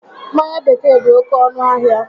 Mmanya bekee dị oké ọnụ ahịa